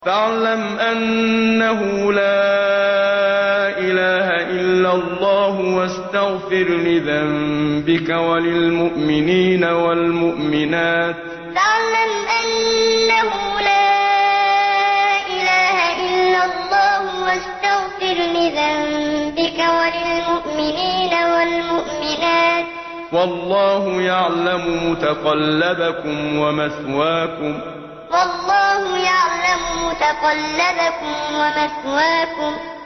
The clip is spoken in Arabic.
فَاعْلَمْ أَنَّهُ لَا إِلَٰهَ إِلَّا اللَّهُ وَاسْتَغْفِرْ لِذَنبِكَ وَلِلْمُؤْمِنِينَ وَالْمُؤْمِنَاتِ ۗ وَاللَّهُ يَعْلَمُ مُتَقَلَّبَكُمْ وَمَثْوَاكُمْ فَاعْلَمْ أَنَّهُ لَا إِلَٰهَ إِلَّا اللَّهُ وَاسْتَغْفِرْ لِذَنبِكَ وَلِلْمُؤْمِنِينَ وَالْمُؤْمِنَاتِ ۗ وَاللَّهُ يَعْلَمُ مُتَقَلَّبَكُمْ وَمَثْوَاكُمْ